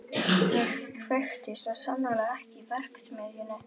Ég kveikti svo sannarlega ekki í verksmiðjunni.